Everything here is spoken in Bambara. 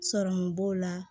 Sɔrɔmu b'o la